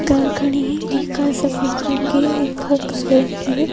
Car खड़ी है एक कार सफेद रंग की है एक कार काले रंग की है।